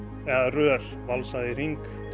rör valsað í hring